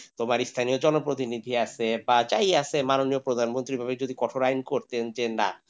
তোমার এই স্থানীয় জনপ্রতিনিধি আছে বা যাই আছে মাননীয় প্রধানমন্ত্রী যদি কঠোর আইন করতো যে না,